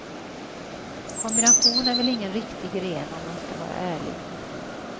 Kombination är väl ingen riktig gren om man skall vara ärlig.